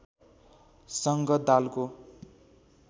स‌‌ङ्ग दालको